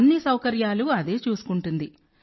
అన్ని సౌకర్యాలూ అదే చూసుకుంటుంది